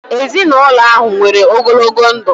Ezinụlọ ahụ nwere ogologo ndụ